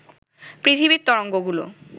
পৃথিবীর তরঙ্গগুলো